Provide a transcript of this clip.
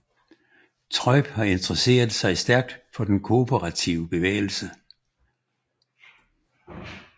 Treub har interesseret sig stærkt for den kooperative bevægelse